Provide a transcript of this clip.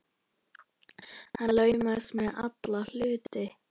Hann laumast með alla hluti.